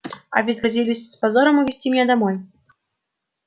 а ведь грозились с позором увезти меня домой